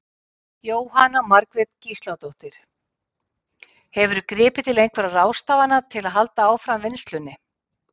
Jóhanna Margrét Gísladóttir: Hefurðu gripið til einhverja ráðstafana til að halda áfram vinnslunni?